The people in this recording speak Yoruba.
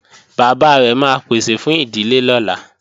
Bàbá rẹ̀ máa pèsè fún ìdílé lọ́la